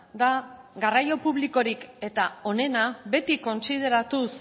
da garraio publikorik eta onena beti kontsideratuz